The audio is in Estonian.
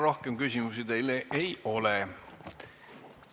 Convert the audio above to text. Rohkem küsimusi teile ei ole.